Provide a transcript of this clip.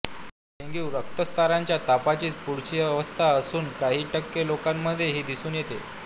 ही dengue रक्तस्राराच्या तापाचीच पुढची अवस्था असून काही टक्के लोकांमध्येच ही दिसून येते